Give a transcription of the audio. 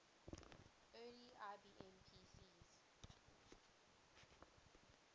early ibm pcs